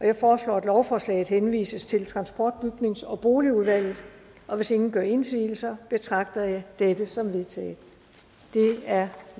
jeg foreslår at lovforslaget henvises til transport bygnings og boligudvalget hvis ingen gør indsigelse betragter jeg dette som vedtaget det er